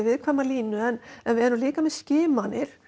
viðkvæma línu en við erum líka með skimanir